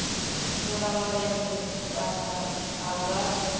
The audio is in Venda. shela mulenzhe kana a nga